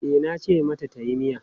E, nace mata tayi miya.